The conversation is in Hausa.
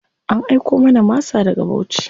An aiko mana masa daga Bauchi.